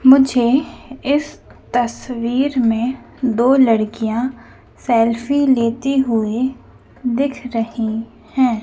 मुझे इस तस्वीर में दो लड़कियां सेल्फी लेते हुए दिख रही हैं।